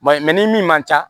ni min man ca